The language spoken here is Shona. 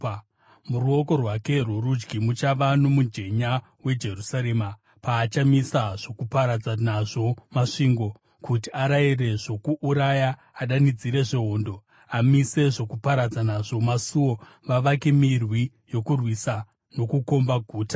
Muruoko rwake rworudyi muchava nomujenya weJerusarema, paachamisa zvokuparadza nazvo masvingo, kuti arayire zvokuuraya, adanidzire zvehondo, amise zvokuparadza nazvo masuo, vavake mirwi yokurwisa nokukomba guta.